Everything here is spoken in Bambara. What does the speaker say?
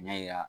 N y'a yira